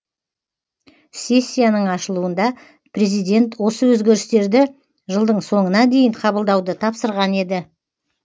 сессияның ашылуында президент осы өзгерістерді жылдың соңына дейін қабылдауды тапсырған еді